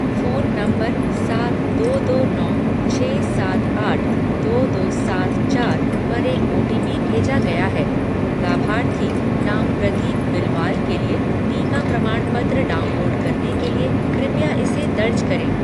Phone number सात दो दो नौ छः सात आठ दो दो सात चार पर एक ओटीपी भेजा गया है। लाभार्थी नाम प्रदीप बिलवाल के लिए टीका प्रमाणपत्र डाउनलोड करने के लिए कृपया इसे दर्ज करें